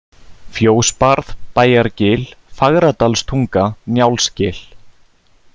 Fjósbarð, Bæjargil, Fagradalstunga, Njálsgil